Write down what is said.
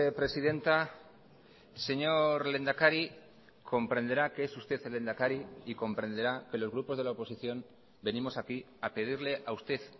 presidenta señor lehendakari comprenderá que es usted el lehendakari y comprenderá que los grupos de la oposición venimos aquí a pedirle a usted